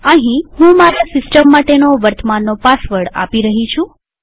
અહીંહું મારા સિસ્ટમ માટેનો વર્તમાનનો પાસવર્ડ આપી રહી છું